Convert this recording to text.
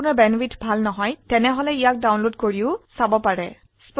ভাল ব্যান্ডউইডথ না থাকলে আপনি ভিডিওটি ডাউনলোড কৰে দেখিব পাৰো